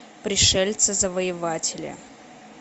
пришельцы завоеватели